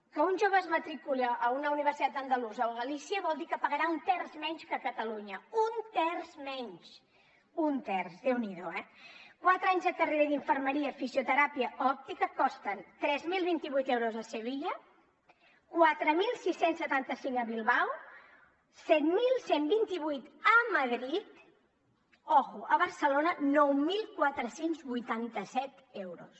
que un jove es matriculi a una universitat andalusa o a galícia vol dir que pagarà un terç menys que a catalunya un terç menys un terç déu n’hi do eh quatre anys de carrera d’infermeria fisioteràpia o òptica costen tres mil vint vuit euros a sevilla quatre mil sis cents i setanta cinc a bilbao set mil cent i vint vuit a madrid i atenció a barcelona nou mil quatre cents i vuitanta set euros